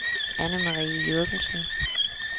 Anne-Marie Jürgensen